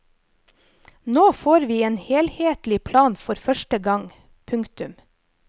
Nå får vi en helhetlig plan for første gang. punktum